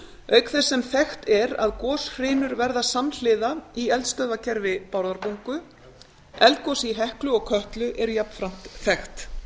auk þess sem þekkt er að goshrinur verða samhliða í eldstöðvakerfi bárðarbungu eldgosið í heklu og kötlu er jafnframt þekkt